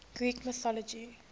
greek mythology